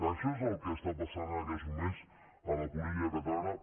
això és el que està passant en aquests moments a la política catalana